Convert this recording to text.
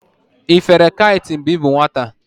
Ị fere kait mgbe ị bụ nwata?